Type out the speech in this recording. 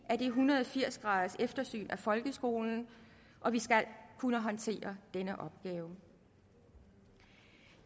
af en hundrede og firs graders eftersynet af folkeskolen og vi skal kunne håndtere den opgave